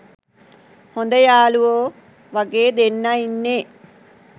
හොද යාලුවෝ වගේ දෙන්නා ඉන්නේ.